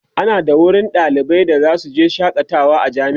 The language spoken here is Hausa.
ana da wurin da ɗalibai zasu je su shakata a jami'a